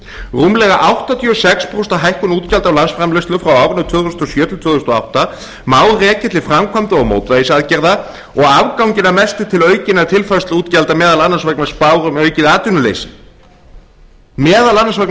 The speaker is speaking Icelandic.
rúmlega áttatíu og sex prósent af hækkun útgjalda af landsframleiðslu frá árinu tvö þúsund og sjö til tvö þúsund og átta má rekja til framkvæmda og mótvægisaðgerða og afganginn að mestu til aukinna tilfærsluútgjalda meðal annars vegna spár um aukið atvinnuleysi meðal annars vegna